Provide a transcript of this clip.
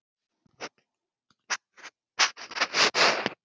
Andófsmenn komnir til Spánar